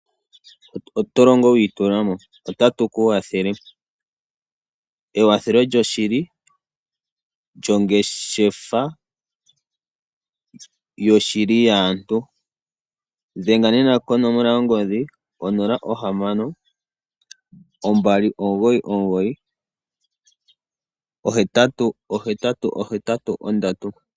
Otolongo witulamo otatu kukwathele ekwathelo lyo shili lyo ngeshefa yo shili yaantu dhenga nena konomola yongodhi 0612998883.